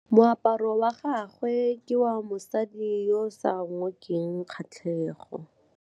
Moaparô wa gagwe ke wa mosadi yo o sa ngôkeng kgatlhegô.